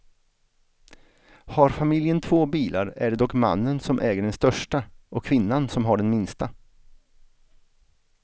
Har familjen två bilar är det dock mannen som äger den största och kvinnan som har den minsta.